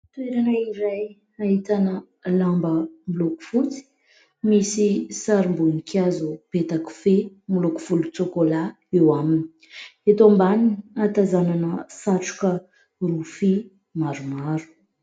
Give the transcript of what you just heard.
Toerana iray ahitana lamba miloko fotsy misy sarim-boninkazo petakofehy miloko volontsokola eo aminy. Eto ambaniny ahatazanana satroka rofia maromaro.